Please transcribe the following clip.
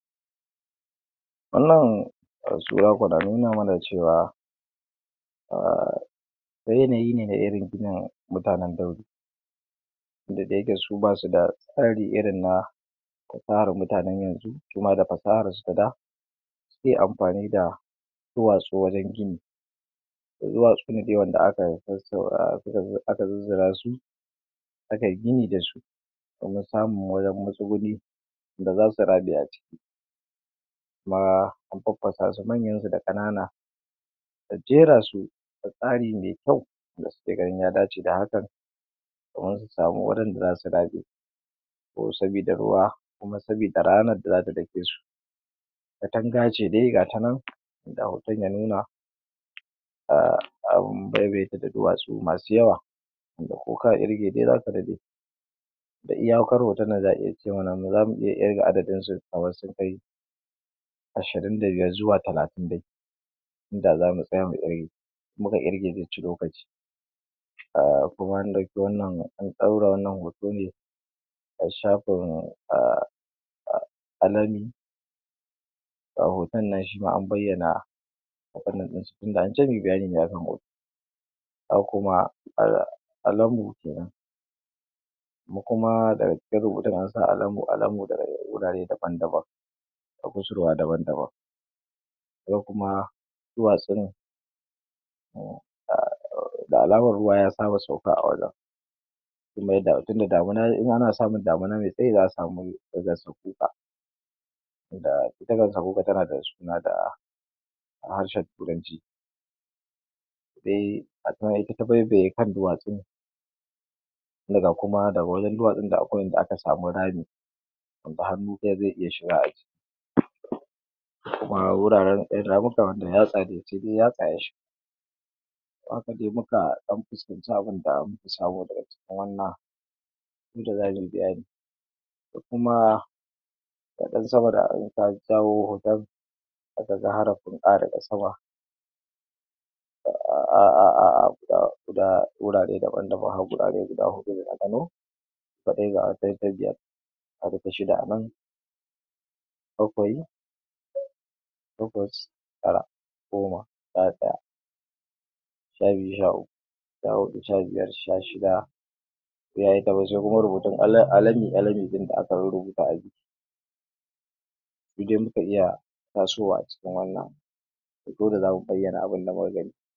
Wannan sura kwana nuna mana cewa um yanayi ne na iringinin mutanen dauji. Tunda da yake su basu da tsari irin na tsarin mutanen yanzu, su ma da fasahar su ta da suke amfani da duwatsu wajan gini. Duwatsu ne dai wanda aka zizzira su, a kai gini da su, domin samun wajan matsuguni, da zasu raɓe a ciki. Kuma an faffasa su, manyan su da ƙanana, da jera su a tsari mai kyau, da suke ganin ya dace da hakan, domin su samu wurin da zasu raɓe, ko sabida ruwa, kuma sabida ranar da zata dake su. Katanga ce dai gata nan da hoton ya nuna, um am baibaye ta da duwatsu masu yawa. Ko ka irge dai, zaka daɗe, da iyakar hoton nan za a iya ce mana, zamu iya irga adadin su kaman sun kai ashirin da biyar zuwa talatin da biyu. Inda zamu tsaya mu irge, muka irge zai ci lokaci. um Kuma an ɗaura wannan hoto ne a shafin um alani. Ga hoton nan shi ma an bayyana abunnan ɗin su, tunda ance muyi bayani ne a kan hoton. Haka kuma um alambu kenan, mu kuma daga jikin rubutun, an sa alambu alambu da wurare daban-daban, a ƙusurwa daban-daban. Yau kuma duwatsun, um da alaman ruwa ya saba sauka a wajan, tunda damuna ne, in ana samun damuna mai tsayi za a samu gansa kuka. Da ita gansa kuka tana da suna da harshen turanci. Se a ta baya ita ta baibaye kan duwatsun, sai ga kuma daga wajan duwatsun da akwai inda aka samu rami, wanda hannu ɗaya zai iya shiga a ciki. Kuma wuraren ƴan ramukan, wanda yatsa sai dai yatsa ya shiga. To, haka dai muka ɗan fuskanci abun da muka samo daga cikin wannan, inda za mui bayani. Da kuma da ɗan sama da in ka jawo hoton, aka zara furɗa daga sama, um guda guda wurare daban-daban har gurare guda huɗu ne nagano, ko dai ga wata ta biyar, ga ta shida a nan, bakwai, takwas, tara, goma, sha ɗaya, sha biyu, sha uku, sha huɗu, sha biyar, sha shida, sai ayi ta waje kuma rubutun alami alami ɗin da aka rubuta a jiki. In dai muka iya tasowa a cikin wannan, to dole zamu bayyana abunda muka gani.